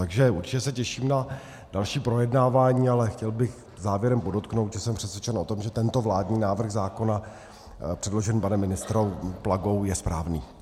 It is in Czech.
Takže určitě se těším na další projednávání, ale chtěl bych závěrem podotknout, že jsem přesvědčen o tom, že tento vládní návrh zákona předložený panem ministrem Plagou je správný.